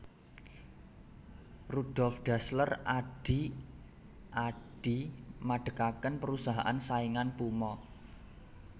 Rudolf Dassler adhi Adi madegaken perusahaan saingan Puma